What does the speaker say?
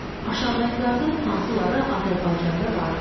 Aşağıdakılardan hansıları Azərbaycanda vardır?